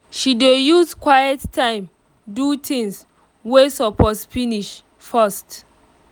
she dey use quiet time do things wey suppose finish first